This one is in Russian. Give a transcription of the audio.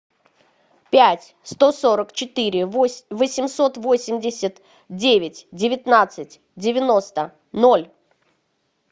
пять сто сорок четыре восемьсот восемьдесят девять девятнадцать девяносто ноль